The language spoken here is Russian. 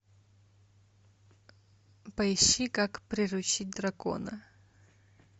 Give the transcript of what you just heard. поищи как приручить дракона